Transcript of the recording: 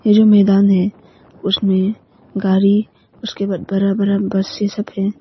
ये जो मैदान है उसमें गाड़ी उसके बाद बरा बरा बस ये सब है।